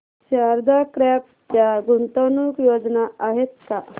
Sharda crop च्या गुंतवणूक योजना आहेत का